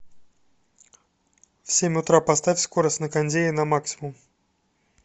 в семь утра поставь скорость на кондее на максимум